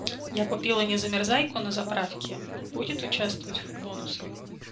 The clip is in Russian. я купила незамерзайку на заправке будет участвовать в бонусах